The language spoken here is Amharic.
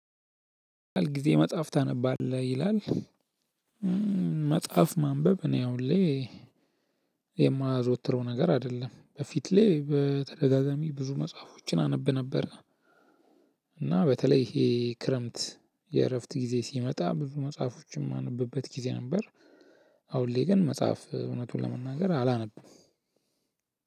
ምን ያህል ጊዜ መጽሐፍ ታነባለህ ይላል? መጽሐፍ ማንበብ እኔ አሁን ላይ የማዘወትረው ነገር አይደለም በፊት ላይ በተደጋጋሚ ብዙ መጽሐፎችን አነብ ነበር። እና በተለይ ይሄ ክረምት የእረፍት ጊዜ ሲመጣ ብዙ መጽሐፎችን ማነብበት ጊዜ ነበር። አሁን ላይ ግን መጽሐፍ እውነቱን ለመናገር አላነብም።